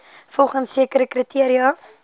volgens sekere kriteria